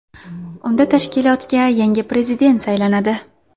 Unda tashkilotga yangi prezident saylanadi.